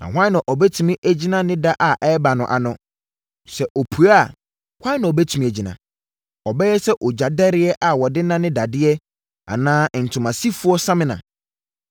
Na hwan na ɔbɛtumi agyina ne da a ɔbɛba no ano? Sɛ opue a, hwan na ɔbɛtumi agyina? Ɔbɛyɛ sɛ ogya dɛreɛ a wɔde nane dadeɛ anaa ntoma sifoɔ samina.